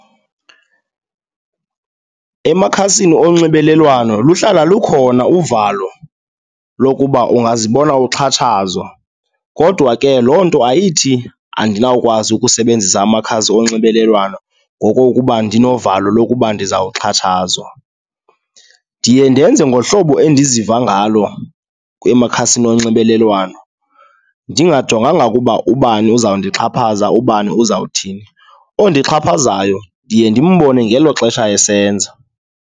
Emakhasini onxibelelwano luhlala lukhona uvalo lokuba ungazibona uxhatshazwa kodwa ke loo nto ayithi andinawukwazi ukusebenzisa amakhasi onxibelelwano ngokokuba ndinovalo lokuba ndizawuxhatshwazwa. Ndiye ndenze ngohlobo endiziva ngalo emakhasini onxibelelwano, ndingajonganga ukuba ubani uzawundixhaphaza, ubani uzawuthini. Ondixhaphazayo ndiye ndimbone ngelo xesha esenza.